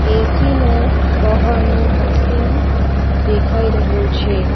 AC નું બહારનું machine દેખાઈ રહ્યું છે.